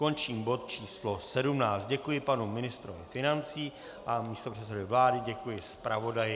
Končím bod číslo 17, děkuji panu ministrovi financí a místopředsedovi vlády, děkuji zpravodaji.